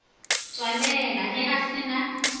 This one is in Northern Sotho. tswalela ge a se na